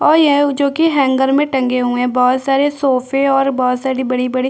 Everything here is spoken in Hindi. ओ ये जो की हैंगर मे टंगे हुई है बहुत सारे सोफे और बहोत सारी बड़ी - बड़ी --